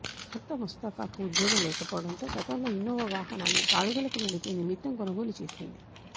భర్త ముస్తఫాకు ఉద్యోగం లేకపోవడంతో గతంలో ఇన్నోవా వాహనాన్ని బాడుగులకు నడిపే నిమిత్తం కొనుగోలు చేసింది